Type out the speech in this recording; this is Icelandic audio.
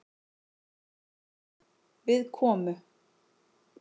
Við komu